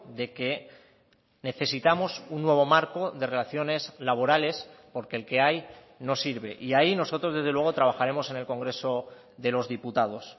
de que necesitamos un nuevo marco de relaciones laborales porque el que hay no sirve y ahí nosotros desde luego trabajaremos en el congreso de los diputados